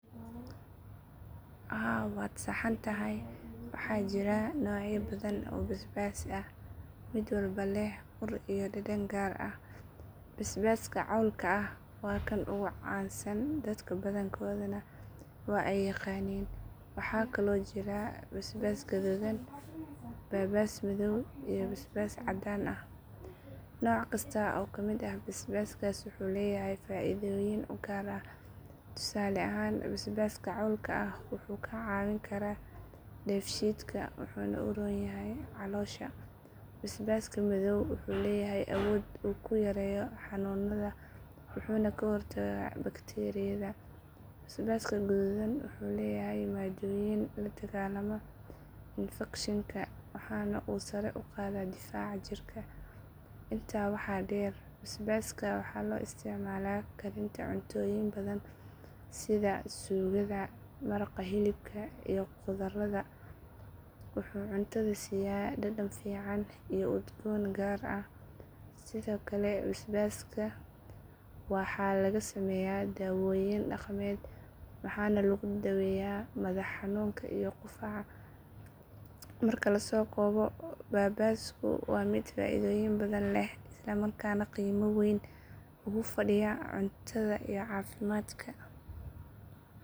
Haa waad saxantahay waxaa jira noocyo badan oo baabaas ah oo mid walba leh ur iyo dhadhan gaar ah. Baabaaska cawlka ah waa kan ugu caansan dadka badankoodna waa ay yaqaaniin. Waxaa kaloo jira baabaas guduudan, baabaas madow, iyo baabaas cadaan ah. Nooc kasta oo ka mid ah baabaaska wuxuu leeyahay faa'iidooyin u gaar ah. Tusaale ahaan baabaaska cawlka ah wuxuu kaa caawin karaa dheefshiidka wuxuuna u roon yahay caloosha. Baabaaska madow wuxuu leeyahay awood uu ku yareeyo xanuunada wuxuuna ka hortagaa bakteeriyada. Baabaaska guduudan wuxuu leeyahay maadooyin la dagaalama infekshinka waxaana uu sare u qaadaa difaaca jirka. Intaa waxaa dheer baabaaska waxaa loo isticmaalaa karinta cuntooyin badan sida suugada, maraqa, hilibka, iyo khudradda. Wuxuu cuntada siiya dhadhan fiican iyo udgoon gaar ah. Sidoo kale baabaaska waxaa laga sameeyaa daawooyin dhaqameed waxaana lagu daaweeyaa madax xanuunka iyo qufaca. Marka la soo koobo baabaasku waa mid faa'iidooyin badan leh isla markaana qiimo weyn ugu fadhiya cuntada iyo caafimaadka.